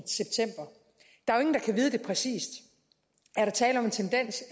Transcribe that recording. i vide præcis er der tale om en tendens